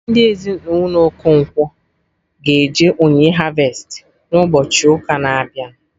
Ndị Ezinụlọ Okonkwo ga eje onyinye harvestị na ụbọchị ụka na-abịa